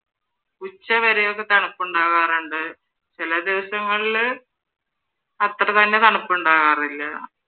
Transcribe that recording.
ഉച്ചവരെയൊക്കെ തണുപ്പുണ്ടാകാറുണ്ട്, ചില ദിവസങ്ങളില് അത്രതന്നെ തണുപ്പുണ്ടാകാറില്ല.